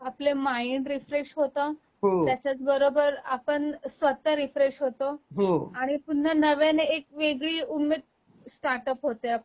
आपल mind refresh होत, त्याच्याच बरोबर आपण स्वत: रीफ्रेश होतो, आणि पुन्हा नव्याने एक वेगळी उमेद स्टार्टअप होते आपली